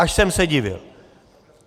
Až jsem se divil.